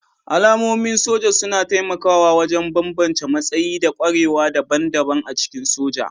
Alamomin soja suna taimakawa wajen bambance matsayi da ƙwarewa daban-daban a cikin soja